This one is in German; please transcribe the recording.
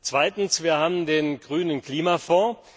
Zweitens, wir haben den Grünen Klimafonds.